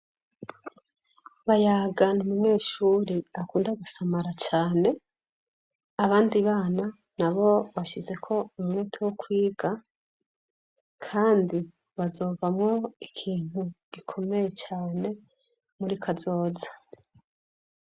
BAYAGA ni umunyeshure akunda gusamara cane abandi bana nabo bashizeko umwete wo kwiga kandi bazovamwo ikintu gikomeye cane muri kazoza.